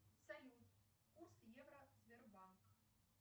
салют курс евро сбербанк